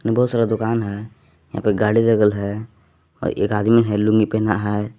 बहुत सारा दुकान है यहां पे गाड़ी लगल है और एक आदमी ने लूंगी पहना है।